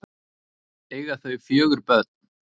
Eiga þau fjögur börn.